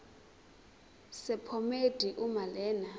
sephomedi uma lena